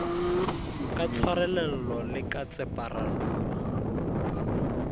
ka tshwarelelo le ka tseparelo